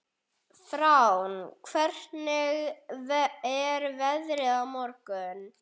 Fránn, hvernig er veðrið á morgun?